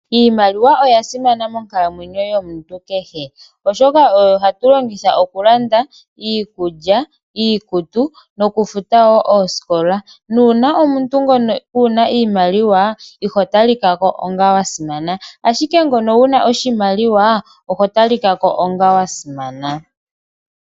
Iimaliwa oya simana monkalamwenyo yomuntu kehe, oshoka oyo ha tu longitha oku landa iikulya, iikutu, noku futa wo oosikola. Nuuna omuntu ngono Keena iimaliwa, iho talikako onga wa simana, ashike ngono wuna oshimaliwa, oho talikako onga wa simana.